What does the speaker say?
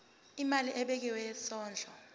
imali ebekiwe yesondlo